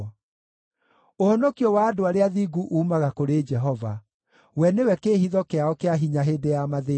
Ũhonokio wa andũ arĩa athingu uumaga kũrĩ Jehova; we nĩwe kĩĩhitho kĩao kĩa hinya hĩndĩ ya mathĩĩna.